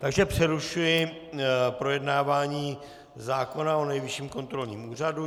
Takže přerušuji projednávání zákona o Nejvyšším kontrolním úřadu.